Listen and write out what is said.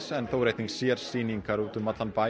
en þó eru sérsýningar út um allan bæ